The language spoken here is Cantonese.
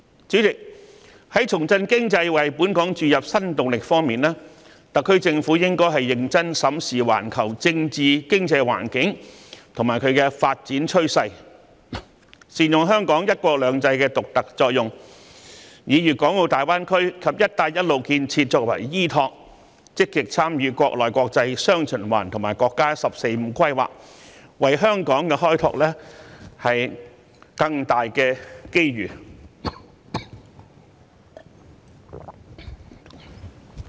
主席，在重振經濟為本港注入新動力方面，特區政府應認真審視環球政治經濟環境及發展趨勢，善用香港"一國兩制"的獨特作用，以粵港澳大灣區及"一帶一路"建設作為依托，積極參與國內、國際雙循環及國家"十四五"規劃，為香港開拓更大的機遇。